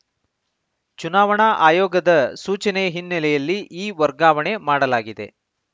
ಚುನಾವಣಾ ಆಯೋಗದ ಸೂಚನೆಯ ಹಿನ್ನೆಲೆಯಲ್ಲಿ ಈ ವರ್ಗಾವಣೆ ಮಾಡಲಾಗಿದೆ